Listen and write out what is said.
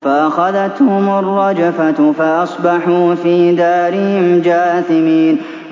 فَأَخَذَتْهُمُ الرَّجْفَةُ فَأَصْبَحُوا فِي دَارِهِمْ جَاثِمِينَ